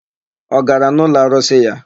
Ọ gara n'ụlọarụsị ya?